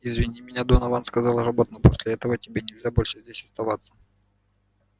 извини меня донован сказал робот но после этого тебе нельзя больше здесь оставаться